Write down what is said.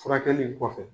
Furakɛli in kɔfɛ